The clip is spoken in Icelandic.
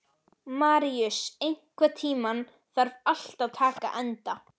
Maríus, einhvern tímann þarf allt að taka enda.